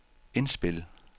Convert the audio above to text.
indspil